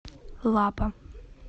лапа